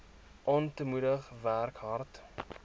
aantemoedig werk hard